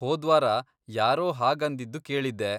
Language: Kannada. ಹೋದ್ವಾರ ಯಾರೋ ಹಾಗಂದಿದ್ದು ಕೇಳಿದ್ದೆ.